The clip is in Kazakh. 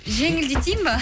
жеңілдетейін бе